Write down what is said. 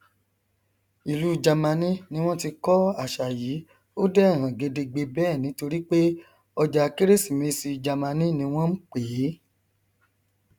ìlú jamani ni wọn ti kọ àṣà yìí ó dẹ hàn gedegbe bẹẹ nítorí pé ọjàkérésìmesìjamani ni wọn npèé